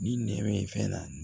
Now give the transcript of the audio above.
Ni nɛmɛ bɛ fɛn na